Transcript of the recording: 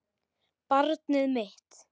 Barnið mitt.